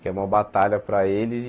Que é uma batalha para eles e.